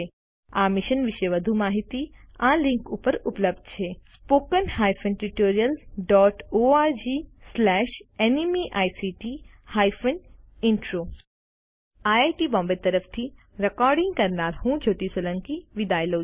આ મિશન વિશે વધુ માહીતી આ લીંક ઉપર ઉપલબ્ધ છે httpspoken tutorialorgNMEICT Intro IIT Bombay તરફથી ભાષાંતર કરનાર હું કૃપાલી પરમાર વિદાય લઉં છું